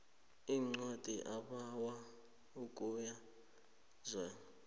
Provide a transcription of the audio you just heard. incwadi ebawa ukubuyekezwa